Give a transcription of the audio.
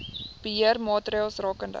beheer maatreëls rakende